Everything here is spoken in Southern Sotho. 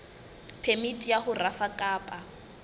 phemiti ya ho rafa kapa